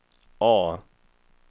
A